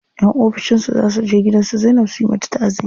Yan ofishin su za suje gidan su Zainab su yi mata taʼaziya.